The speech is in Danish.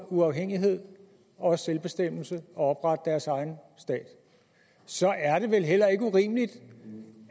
uafhængighed og selvbestemmelse og oprette deres egen stat så er det vel heller ikke urimeligt